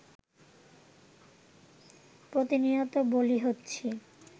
প্রতিনিয়ত বলি হচ্ছি